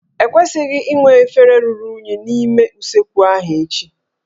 E kwesịghị inwe efere ruru unyi n'ime usekwu ahụ echi